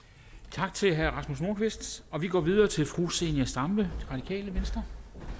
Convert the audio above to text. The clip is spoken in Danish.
tak til herre rasmus nordqvist vi går videre til fru zenia stampe radikale venstre